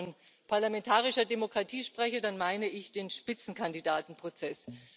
Und wenn ich von parlamentarischer Demokratie spreche, dann meine ich den Spitzenkandidatenprozess.